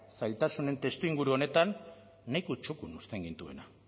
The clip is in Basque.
zailtasunen testuinguru honetan nahiko txukun uzten gintuena